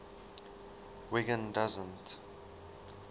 wiggin doesn t